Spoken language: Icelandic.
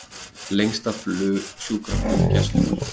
Lengsta sjúkraflug Gæslunnar